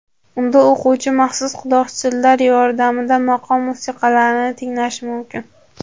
Unda o‘quvchi maxsus quloqchinlar yordamida maqom musiqalarini tinglashi mumkin.